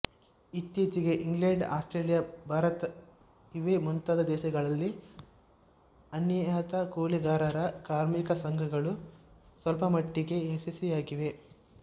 ಇತ್ತೀಚೆಗೆ England Australia ಭಾರತಇವೇ ಮುಂತಾದ ದೇಶಗಳಲ್ಲಿ ಅನಿಯತಕೂಲಿಗಾರರ ಕಾರ್ಮಿಕಸಂಘಗಳು ಸ್ವಲ್ಪಮಟ್ಟಿಗೆ ಯಶಸ್ವಿಯಾಗಿವೆ